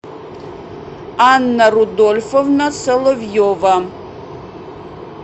анна рудольфовна соловьева